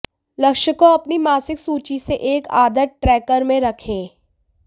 लक्ष्यों को अपनी मासिक सूची से एक आदत ट्रैकर में रखें